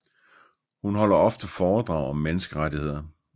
Hun holder ofte foredrag om menneskerettigheder